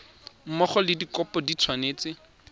mmogo le dikopo di tshwanetse